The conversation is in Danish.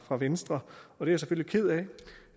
fra venstre og det